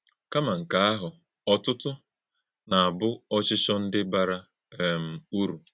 Kàmá̄ nkè àhụ̄, ọ́tụ́tụ́ na - àbụ̀ òchìchọ̄ ndị́ bàrà um ụ̀rù̄.